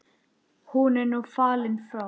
Hann er nú fallinn frá.